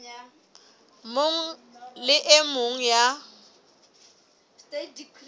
mong le e mong ya